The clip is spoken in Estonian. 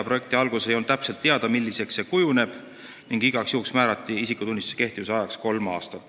Projekti alguses ei olnud täpselt teada, milliseks asi kujuneb, ning igaks juhuks määrati digitaalse isikutunnistuse kehtivuse ajaks kolm aastat.